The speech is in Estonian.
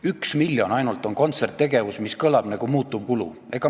1 miljon läheb ainult kontserttegevusele, see kõlab nagu muutuvkulud.